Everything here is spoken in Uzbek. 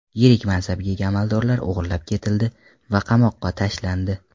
Yirik mansabga ega amaldorlar o‘g‘irlab ketildi va qamoqqa tashlandi.